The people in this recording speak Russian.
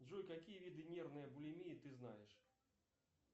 джой какие виды нервные булимии ты знаешь